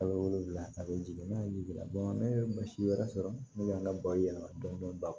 A bɛ wolonwula a bɛ jigin n'a ye jigiya ne ye mansi wɛrɛ sɔrɔ ne y'a ka bayɛlɛma dɔɔnin dɔɔnin